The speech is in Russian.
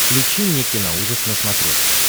включи мне киноужас на смотрешке